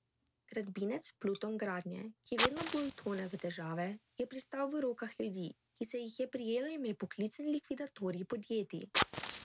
Gradbinec Pluton Gradnje, ki vedno bolj tone v težave, je pristal v rokah ljudi, ki se jih je prijelo ime poklicni likvidatorji podjetij.